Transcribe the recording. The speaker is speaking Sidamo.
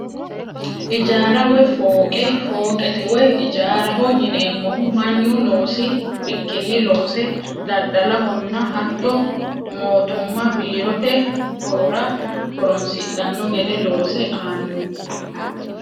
Ijaara woyi fooqe, fooqete woyi ijaaraho yineemohu manu noosi bikkini loose dadalohonna hatto mootuma biirote horora horonsidhano gede loose aano